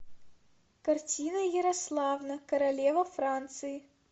картина ярославна королева франции